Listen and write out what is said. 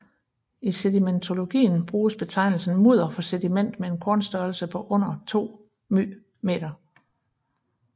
I sedimentologien bruges betegnelsen mudder for sediment med en kornstørrelse under 2 µm